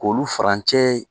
K'olu furancɛ